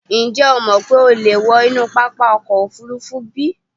Ǹjẹ́ o mọ̀ pé o lè wọ inú pápákọ̀ òfúrufú bí?